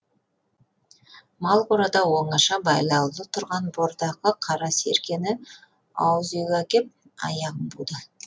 мал қорада оңаша байлаулы тұрған бордақы қара серкені ауыз үйге әкеп аяғын буды